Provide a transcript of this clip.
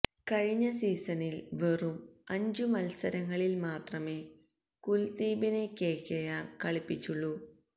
കഴിഞ്ഞ സീസണില് വെറും അഞ്ചു മല്സരങ്ങളില് മാത്രമേ കുല്ദീപിനെ കെകെആര് കളിപ്പിച്ചുള്ളൂ